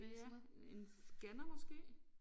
Ja en scanner måske